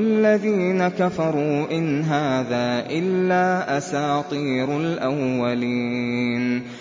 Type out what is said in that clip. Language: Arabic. الَّذِينَ كَفَرُوا إِنْ هَٰذَا إِلَّا أَسَاطِيرُ الْأَوَّلِينَ